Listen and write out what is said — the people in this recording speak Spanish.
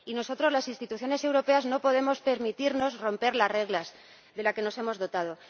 Y nosotros, las instituciones europeas, no podemos permitirnos romper las reglas de las que nos hemos dotado.